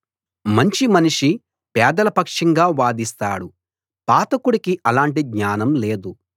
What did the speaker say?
మంచి మనిషి పేదల పక్షంగా వాదిస్తాడు పాతకుడికి అలాటి జ్ఞానం లేదు